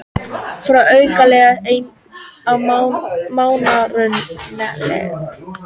Fá aukalega ein mánaðarlaun